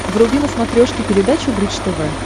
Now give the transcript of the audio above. вруби на смотрешке передачу бридж тв